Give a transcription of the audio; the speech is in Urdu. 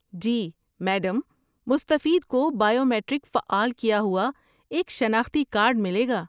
جی، میڈم! مستفید کو بائیو میٹرک فعال کیا ہوا ایک شناختی کارڈ ملے گا۔